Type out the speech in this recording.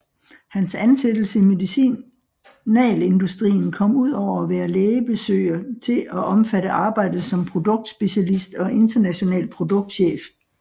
Hans ansættelse i medicinalindustrien kom ud over at være lægebesøger til at omfatte arbejdet som produktspecialist og international produktchef